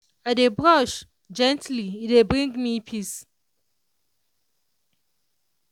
i dey brush gently e dey bring me peace.